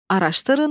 Araşdırın.